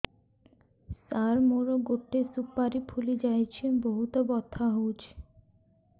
ସାର ମୋର ଗୋଟେ ସୁପାରୀ ଫୁଲିଯାଇଛି ବହୁତ ବଥା ହଉଛି